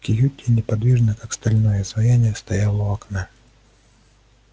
кьюти неподвижно как стальное изваяние стояла у окна